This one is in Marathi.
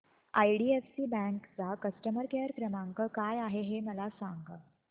आयडीएफसी बँक चा कस्टमर केयर क्रमांक काय आहे हे मला सांगा